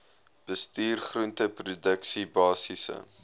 bestuur groenteproduksie basiese